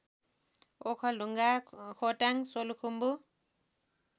Okhaldhunga Khotang Solukhumbu